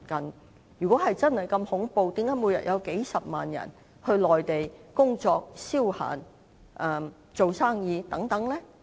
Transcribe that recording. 但是如果真的如此恐怖，為何每天仍有數十萬人前往內地工作、消閒或做生意呢？